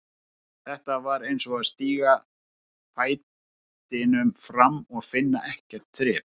Þetta var eins og að stíga fætinum fram og finna ekkert þrep.